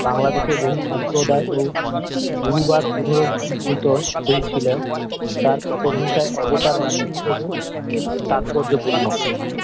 বাংলাদেশের বহু সম্প্রদায় ও গুরু বাদ পুনরজীবৃত হয়েছিলো তার পটভূমিকায় অবতার নাটক হিসাবে তাৎপর্য পূর্ণ